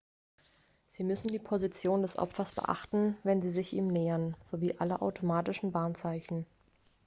sie müssen die position des opfers beachten wenn sie sich ihm nähern sowie alle automatischen warnzeichen